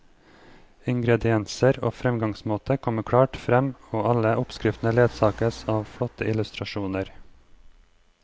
Ingredienser og fremgangsmåte kommer klart frem, og alle oppskriftene ledsages av flotte illustrasjoner.